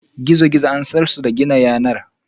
gizo-gizo an San su da gina yanar.